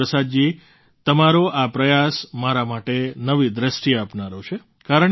ગુરુપ્રસાદજી તમારો આ પ્રયાસ મારા માટે નવી દૃષ્ટિ આપનારો છે